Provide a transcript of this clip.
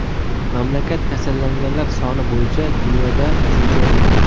Mamlakat kasallanganlar soni bo‘yicha dunyoda uchinchi o‘rinda .